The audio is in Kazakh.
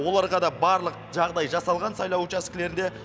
оларға да барлық жағдай жасалған сайлау учаскілерінде